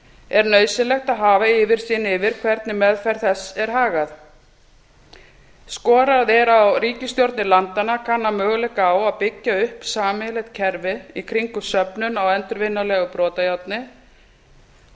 er nauðsynlegt að hafa yfirsýn yfir hvernig meðferð þess er hagað skorað er á ríkisstjórnir landanna að kanna möguleika á að byggja upp sameiginlegt kerfi í kringum söfnun á endurvinnanlegu brotajárni og